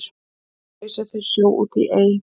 ausa þeir sjó út í ey